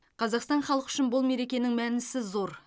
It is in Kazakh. қазақстан халқы үшін бұл мерекенің мәнісі зор